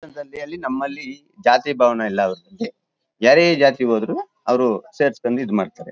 ಹಿಂಧೂ ಧರ್ಮದಲ್ಲಿ ನಮ್ಮಲ್ಲಿ ಜಾತಿ ಭಾವನೆ ಇಲ್ಲ ಅವರಲ್ಲಿ ಯಾರೇ ಜಾತಿ ಹೋದರು ಅವರು ಸೇರಿಸಿಕೊಂಡು ಇದ್ ಮಾಡ್ತಾರೆ.